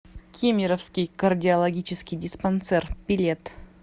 кемеровский кардиологический диспансер билет